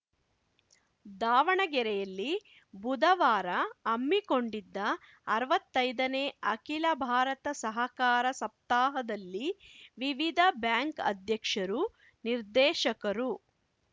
ದಾವಣಗೆರೆಯಲ್ಲಿ ಬುಧವಾರ ಹಮ್ಮಿಕೊಂಡಿದ್ದ ಅರ್ವತ್ತೈದನೇ ಅಖಿಲ ಭಾರತ ಸಹಕಾರ ಸಪ್ತಾಹದಲ್ಲಿ ವಿವಿಧ ಬ್ಯಾಂಕ್‌ ಅಧ್ಯಕ್ಷರು ನಿರ್ದೇಶಕರು